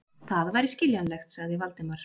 Það væri skiljanlegt, sagði Valdimar.